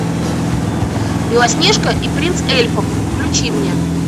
белоснежка и принц эльфов включи мне